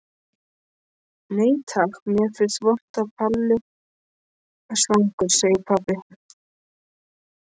Nei takk, mér finnst vont að vera svangur, segir Palli.